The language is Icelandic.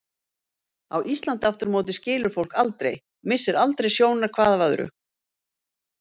Á Íslandi aftur á móti skilur fólk aldrei, missir aldrei sjónar hvað af öðru.